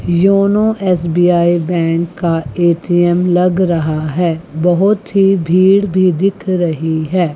का ए_टी_एम लग रहा है बहुत ही भीड़ भी दिख रही है।